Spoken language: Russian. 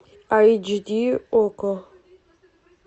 айч ди окко